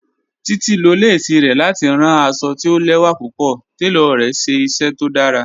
Títi ló lẹ̀sí rẹ̀ láti ránn àṣọ̀ tì ò lẹwa púpọ̀, tẹló rẹ̀ ṣẹ iṣẹ tó dàrá.